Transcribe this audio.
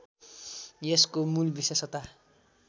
यसको मूल विशेषता